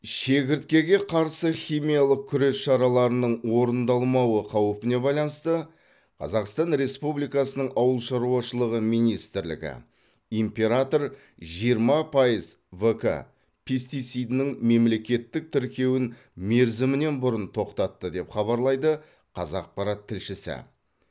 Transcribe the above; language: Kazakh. шегірткеге қарсы химиялық күрес шараларының орындалмауы қаупіне байланысты қазақстан республикасының ауыл шаруашылығы министрлігі император жиырма пайыз в к пестицидінің мемлекеттік тіркеуін мерзімінен бұрын тоқтатты деп хабарлайды қазақпарат тілшісі